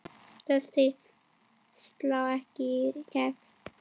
Flestir slá ekki í gegn.